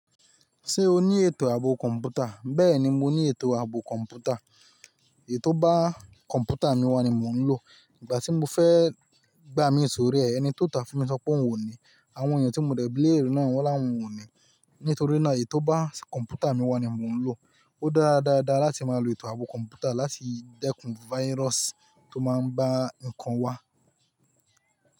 Ṣé o ní ètò ààbò kọ̀m̀pútà? Bẹ́ẹ̀ni, mo ní ètò ààbò kọ̀m̀pútà. Èyí tò bá kọ̀m̀pútà mi wà ni mo ń lò. Ìgbà tí mo fẹ́ gbà mí sórí ẹ, ẹni tó tà fún mi sọ pé òun ò ni. Àwọn èèyàn tí mo dẹ̀ bí léèrè náà wọ́n láwọn o ni. Nítorí náà, èyí tò bá kọ̀m̀pútà mi wà ni mo ń lò. Ó dára dáadáa láti máa lo ètò ààbò kọ̀m̀pútà láti dẹ́kun virus tó máa ń bá nǹkan wá.